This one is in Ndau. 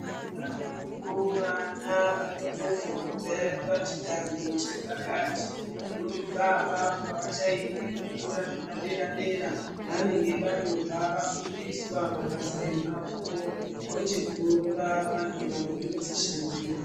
Variko vana vanotozobve pachidanho chepakati vanotobva apapo avachaendi kuzvikora zvepadera dera vanenge vatobva vafundiswa mabasa emaoko vochizova vantu vanotodzishandira.